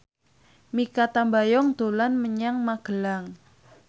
Mikha Tambayong dolan menyang Magelang